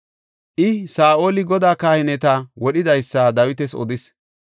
I, Saa7oli Godaa kahineta wodhidaysa Dawitas odis.